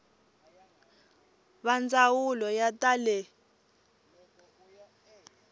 va ndzawulo ya ta le